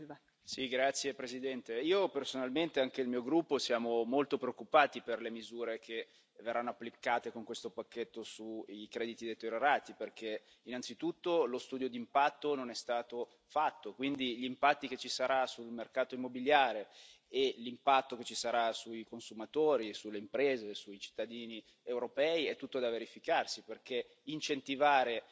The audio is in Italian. Signora Presidente, onorevoli colleghi, io personalmente, e anche il mio gruppo, siamo molto preoccupati per le misure che verranno applicate con questo pacchetto sui crediti deteriorati, innanzitutto perché lo studio di impatto non è stato fatto, e quindi gli impatti che ci saranno sul mercato immobiliare e l'impatto che ci sarà sui consumatori, sulle imprese e sui cittadini europei sono tutto da verificare, perché incentivare